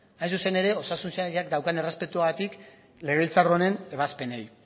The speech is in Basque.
hain zuzen ere osasun sailak daukan errespetuagatik legebiltzar honen ebazpenei